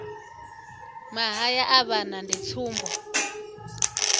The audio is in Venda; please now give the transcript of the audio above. mahaya a vhana ndi tsumbo